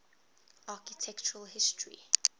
architectural history